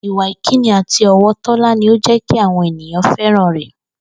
Ìwà ìkíni àti ò̩wò̩ Tó̩lá ni ó jé̩ kí àwo̩n ènìyàn fé̩ràn rè̩